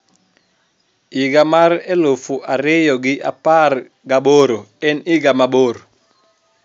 higa mar eluf ariyo gi apargi aboro en higa mabor